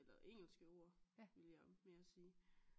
Eller engelske ord ville jeg mere sige